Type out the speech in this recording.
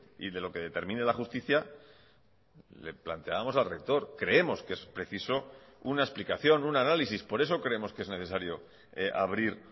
y de lo que determine la justicia le planteábamos al rector creemos que es preciso una explicación un análisis por eso creemos que es necesario abrir